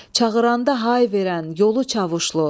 Çağıranda hay verən yolu Çavuşlu.